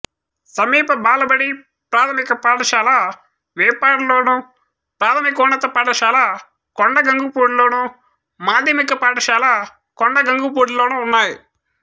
సమీప బాలబడి ప్రాథమిక పాఠశాల వేపాడలోను ప్రాథమికోన్నత పాఠశాల కొండగంగుపూడిలోను మాధ్యమిక పాఠశాల కొండగంగుపూడిలోనూ ఉన్నాయి